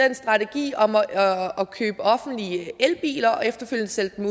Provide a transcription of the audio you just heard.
en strategi om at købe offentlige elbiler og efterfølgende sælge dem